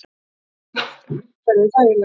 Loks verður allt umhverfi þægilegra.